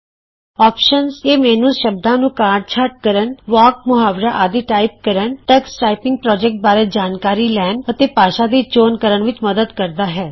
options ਇਹ menu ਸ਼ਬਦਾਂ ਨੂੰ ਕਾਂਟ ਛਾਂਟ ਕਰਨ ਵਾਕ ਮੁਹਾਵਰਾ ਆਦਿ ਟਾਈਪ ਕਰਨ ਟਕਸ ਟਾਈਪਿੰਗ ਪ੍ਰੋਜੈਕਟ ਬਾਰੇ ਜਾਣਕਾਰੀ ਲੈਣ ਅਤੇ ਭਾਸ਼ਾ ਦੀ ਚੋਣ ਕਰਨ ਵਿਚ ਮਦੱਦ ਕਰਦਾ ਹੈ